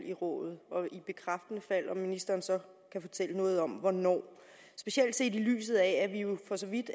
i rådet og i bekræftende fald om ministeren så kan fortælle noget om hvornår specielt set i lyset af at vi jo for så vidt